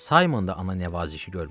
Saymon da ana nəvazişi görmüşdü.